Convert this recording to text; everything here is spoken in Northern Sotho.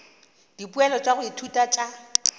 dipoelo tša go ithuta tša